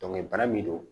bana min do